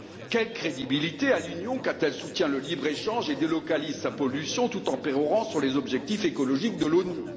Quelle crédibilité a l'Union quand elle soutient le libre échange et délocalise sa pollution tout en pérorant sur les objectifs écologiques de l'ONU?